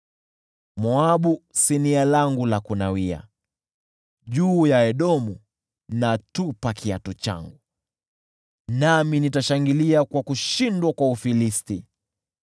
Moabu ni sinia langu la kunawia, juu ya Edomu natupa kiatu changu; nashangilia kwa kushindwa kwa Ufilisti.”